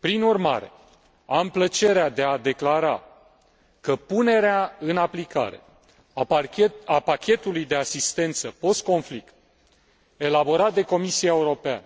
Prin urmare, am plăcerea de a declara că punerea în aplicare a pachetului de asistență postconflict, elaborat de Comisia Europeană